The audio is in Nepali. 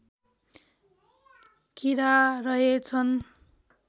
किरा रहेछन्